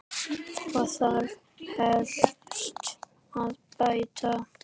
Hvað þarf helst að bæta?